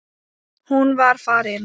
Hún var farin.